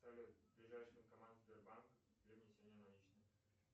салют ближайший банкомат сбербанка для внесения наличных